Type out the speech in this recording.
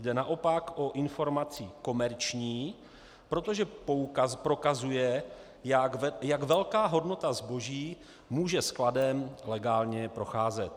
Jde naopak o informaci komerční, protože prokazuje, jak velká hodnota zboží může skladem legálně procházet.